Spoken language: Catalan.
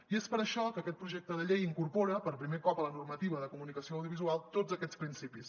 i és per això que aquest projecte de llei incorpora per primer cop a la normativa de comunicació audiovisual tots aquests principis